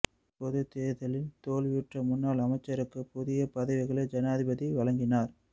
பொதுத் தேர்தலில் தோல்வியுற்ற முன்னால் அமைச்சர்களுக்கு புதிய பதவிகளை ஜனாதிபதி வழங்கினார்